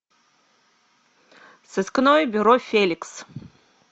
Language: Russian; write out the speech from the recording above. сыскное бюро феликс